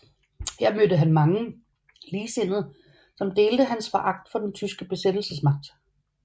Her mødte han mange ligesindede som delte hans foragt for den tyske besættelsesmagt